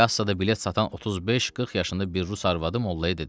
Kassada bilet satan 35-40 yaşında bir rus arvadı mollaya dedi: